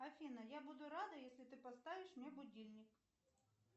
афина я буду рада если ты поставишь мне будильник